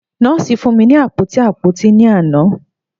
Nọọsi fun mi ni apoti apoti ni ana.